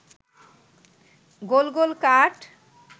গোল গোল কাঠ